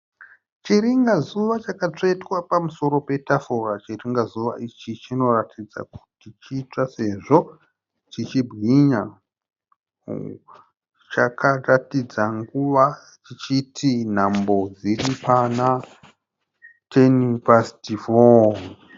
Chiringazuva chakatsvetwa pamusoro petafura . Chiringazuva ichi chinoratidza kuti chitsva sezvo chichibwinya . Chakaratidza nguva chichiti nhambo dziri pana 10 past 4.